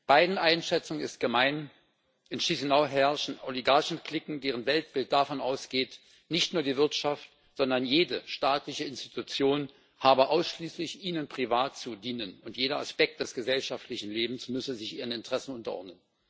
Beiden Einschätzungen ist gemein In Chișinău herrschen Oligarchen Cliquen, deren Weltbild davon ausgeht, nicht nur die Wirtschaft, sondern jede staatliche Institution habe ausschließlich ihnen privat zu dienen, und jeder Aspekt des gesellschaftlichen Lebens müsse sich ihren Interessen unterordnen.